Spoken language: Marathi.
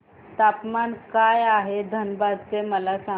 तापमान काय आहे धनबाद चे मला सांगा